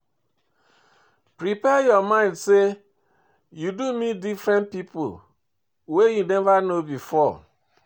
Prepare your mind sey you do meet different pipo wey you nova know before